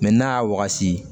n'a y'a wagati